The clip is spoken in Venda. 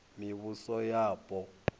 mivhusoyapo